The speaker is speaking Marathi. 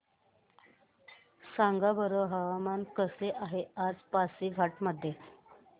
सांगा बरं हवामान कसे आहे आज पासीघाट मध्ये